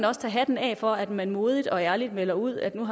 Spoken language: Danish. også tage hatten af for at man modigt og ærligt melder ud at man